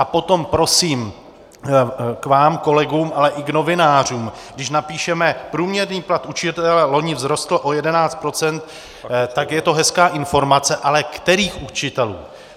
A potom prosím k vám kolegům, ale i novinářům: když napíšeme průměrný plat učitele loni vzrostl o 11 %, tak je to hezká informace - ale kterých učitelů?